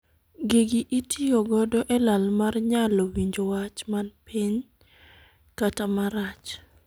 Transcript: Gigi itiyo godo e lal mar nyalo winjo wach man piny kata marach.